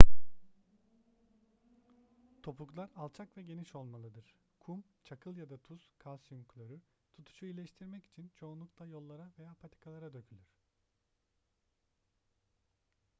topuklar alçak ve geniş olmalıdır. kum çakıl ya da tuz kalsiyum klorür tutuşu iyileştirmek için çoğunlukla yollara veya patikalara dökülür